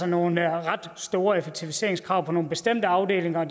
nogle ret store effektiviseringskrav på nogle bestemte afdelinger og